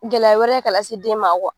Gɛlɛya wɛrɛ ye ka lase den ma